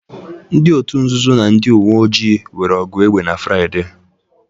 Ndị òtù nzuzo na ndị uwe ojii nwere ọgụ egbe na Fraịde